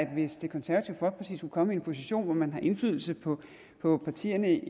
hvis det konservative folkeparti skulle komme i en position hvor man har indflydelse på på partierne